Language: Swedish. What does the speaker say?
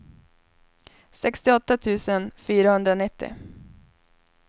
sextioåtta tusen fyrahundranittio